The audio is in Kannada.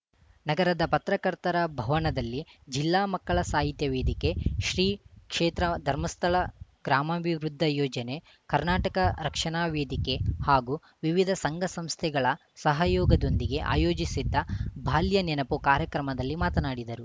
ನಗರದ ಪತ್ರಕರ್ತರ ಭವನದಲ್ಲಿ ಜಿಲ್ಲಾ ಮಕ್ಕಳ ಸಾಹಿತ್ಯ ವೇದಿಕೆ ಶ್ರೀ ಕ್ಷೇತ್ರ ಧರ್ಮಸ್ಥಳ ಗ್ರಾಮಾಭಿವೃದ್ದ ಯೋಜನೆ ಕರ್ನಾಟಕ ರಕ್ಷಣಾ ವೇದಿಕೆ ಹಾಗೂ ವಿವಿದ ಸಂಘ ಸಂಸ್ಥೆಗಳ ಸಹಯೋಗದೊಂದಿಗೆ ಆಯೋಜಿಸಿದ್ದ ಬಾಲ್ಯ ನೆನಪುಕಾರ್ಯಕ್ರಮದಲ್ಲಿ ಮಾತನಾಡಿದರು